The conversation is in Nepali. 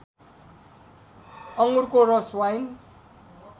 अङ्गुरको रस वाइन